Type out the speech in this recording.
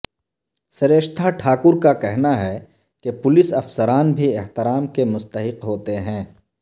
سریشتھا ٹھاکر کا کہنا ہے کہ پولیس افسران بھی احترام کے مستحق ہوتے ہیں